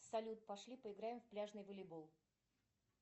салют пошли поиграем в пляжный волейбол